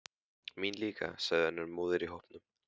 Mín líka, sagði önnur móðir í hópnum.